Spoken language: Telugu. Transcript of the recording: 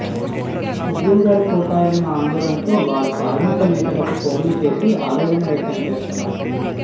ఉద్యోగాలు పోతాయన్న ఆందోళనతో వారు కార్మిక నేతలకు ఫోన్లు చేసి ఆవేదన వ్యక్తం చేస్తున్నారు